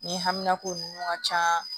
Ni hamina ko ninnu ka ca